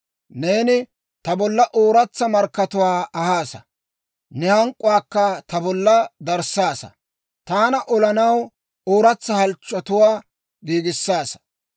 Neeni ta bolla ooratsa markkatuwaa ahaasa; ne hank'k'uwaakka ta bolla darissaasa; taana olanaw ooratsa halchchotuwaa giigissaasa.